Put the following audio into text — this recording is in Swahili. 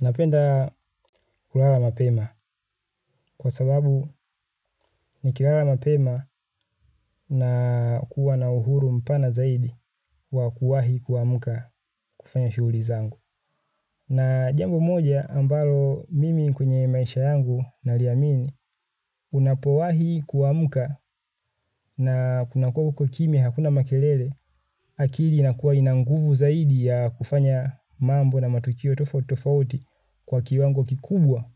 Napenda kulala mapema kwa sababu ni kilala mapema na kuwa na uhuru mpana zaidi wa kuwahi kuwamuka kufanya shughuli zangu. Na jambo moja ambalo mimi kwenye maisha yangu naliamini unapowahi kuamuka na kunakua kukokimi hakuna makelele akili inakuwa inanguvu zaidi ya kufanya mambo na matukio tofauti kwa kiwango kikubwa